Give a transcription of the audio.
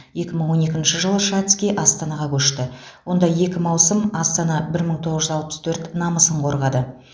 екі мың он екінші жылы шацкий астанаға көшті онда екі маусым астана бір мың тоғыз жүз алпыс төрт намысын қорғады